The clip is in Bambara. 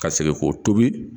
Ka segin k'o tobi.